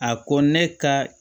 A ko ne ka